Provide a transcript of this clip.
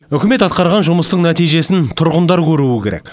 үкімет атқарған жұмыстың нәтижесін тұрғындар көруі керек